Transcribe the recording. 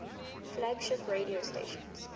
flagship radio stations